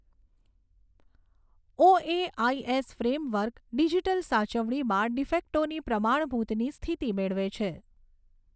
OAIS framework digital સાચવણીમાં ડિ ફેક્ટોની પ્રમાણભૂતની સ્થિતિ મેળવે છે.